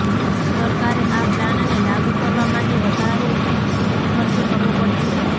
સરકારે આ પ્લાનને લાગુ કરવા માટે વધારોનો ખર્ચ કરવો પડશે